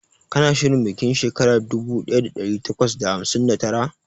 Kana shirin bikin shekara dubu daya da dari takwas da hamsin da tara?